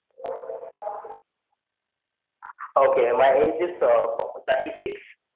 Okay my age is thirty six